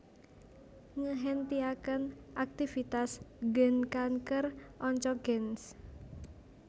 Ngehentiaken aktivitas gen kanker Oncogenes